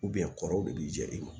kɔrɔw de b'i jɛ i ma